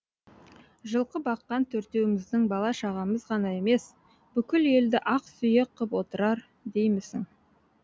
жылқы баққан төртеуіміздің бала шағамыз ғана емес бүкіл елді ақ сүйек қып отырар деймісің